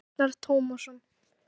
Tómas Agnar Tómasson